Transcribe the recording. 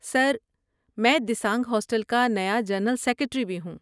سر، میں دیسانگ ہاسٹل کا نیا جنرل سکریٹری بھی ہوں۔